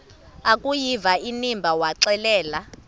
akuyiva inimba waxelela